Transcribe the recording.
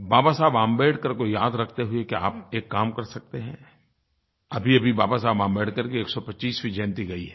बाबा साहेब अम्बेडकर को याद रखते हुए क्या आप एक काम कर सकते हैं अभीअभी बाबा साहेब अम्बेडकर की 125वीं जयंती गई है